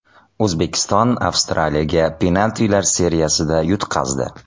O‘zbekiston Avstraliyaga penaltilar seriyasida yutqazdi.